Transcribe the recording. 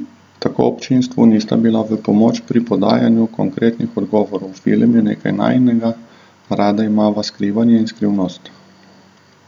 Tako občinstvu nista bila v pomoč pri podajanju konkretnih odgovorov: "Film je nekaj najinega, rada imava skrivanje in skrivnostnost.